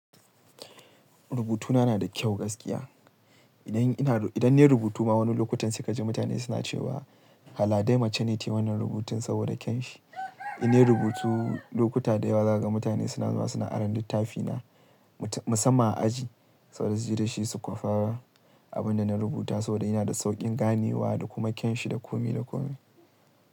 Rubutuna na da kyau gaskiya. Idan ina, idan na yi rubutu ma wani lokaci sai ka ji mutane suna cewa, hala dai mace ne ta yi wannan rubutun saboda kyawunsa. Indan na yi rubutu lokuta da yawa za ka ga mutane suna zuwa suna aron littafina musamman a aji saboda su je da shi su kwafa abin da na rubuta saboda yana da sauƙin ganewa da kuma kyan shi da komi da komi.